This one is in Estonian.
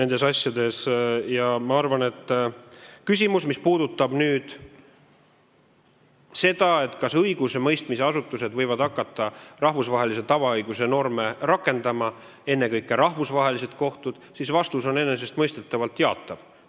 Mis puudutab seda, kas õigusemõistmisasutused, ennekõike rahvusvahelised kohtud, võivad hakata rahvusvahelise tavaõiguse norme rakendama, siis vastus on enesestmõistetavalt jaatav.